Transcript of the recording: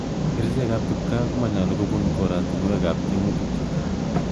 Kerchek ab kipkaa koma nyalu kubun koratunuek ab tiemutik chutok.